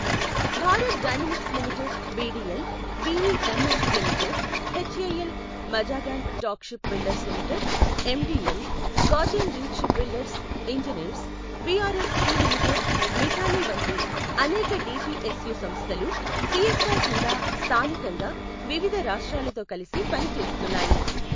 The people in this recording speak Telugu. Bharat dynamics limited BDL, BEML limited, HAL, Mazagon dock ship builders limited MDL, garden reach ship builders engineers BRSE limited, Midhani వంటి అనేక డీపీఎస్యు సంస్థలు సీఎస్ఆర్ కింద స్థానికంగా వివిధ రాష్ట్రాలతో కలిసి పని చేస్తున్నాయి.